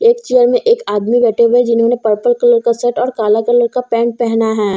एक चेयर में एक आदमी बैठे हुए हैं जिन्होंने पर्पल कलर का शर्ट और काला कलर का पेंट पहना है।